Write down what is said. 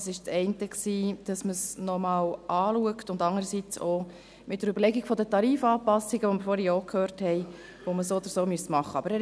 Das eine war, dass man es noch einmal anschaut und das andere die Überlegung der Tarifanpassungen – dies haben wir vorhin auch gehört –, die man sowieso machen müsse.